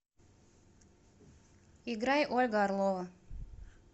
играй ольга орлова